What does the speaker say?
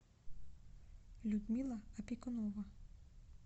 людмила опекунова